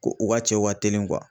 Ko u ka cɛw ka telin